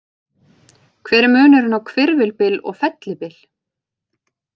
Hver er munurinn á hvirfilbyl og fellibyl?